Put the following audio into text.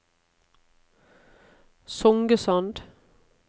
Songesand